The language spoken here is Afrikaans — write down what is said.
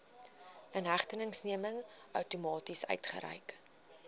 inhegtenisneming outomaties uitgereik